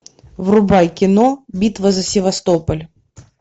врубай кино битва за севастополь